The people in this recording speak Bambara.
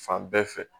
Fan bɛɛ fɛ